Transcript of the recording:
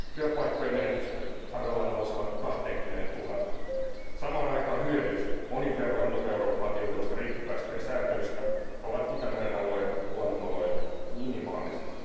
Työpaikkojen menetysten arvellaan nousevan kahteenkymmeneentuhanteen. Samaan aikaan hyödyt, monin verroin muuta Eurooppaa tiukemmasta rikkipäästöjen sääntelystä, ovat Itämeren alueen luonnonoloille minimaaliset.